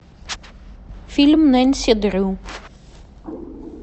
фильм нэнси дрю